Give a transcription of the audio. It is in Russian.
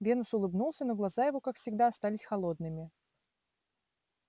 венус улыбнулся но глаза его как всегда остались холодными